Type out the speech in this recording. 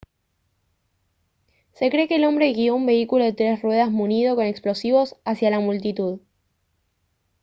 se cree que el hombre guio un vehículo de tres ruedas munido con explosivos hacia la multitud